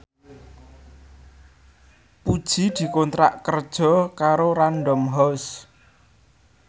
Puji dikontrak kerja karo Random House